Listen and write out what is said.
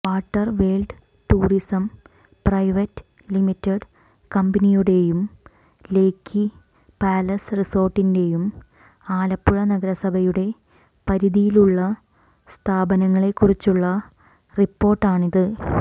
Waterworld tourism private limited കമ്പനിയുടെയും lake palace റിസോർട്ടിന്റെയും ആലപ്പുഴ നഗരസഭയുടെ പരിധിയിലുള്ള സ്ഥാപനങ്ങളെ കുറിച്ചുള്ള റിപ്പോർട്ടാണിത്